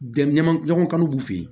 Jɛ ɲɔgɔn ɲɔgɔnkan b'u fɛ yen